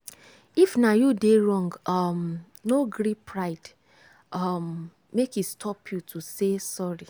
if na you dey wrong um no gree pride um make e stop you to say sorry.